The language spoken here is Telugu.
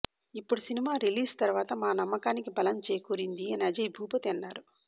ఇప్పుడు సినిమా రిలీజ్ తర్వాత మా నమ్మకాని బలం చేకూరింది అని అజయ్ భూపతి అన్నారు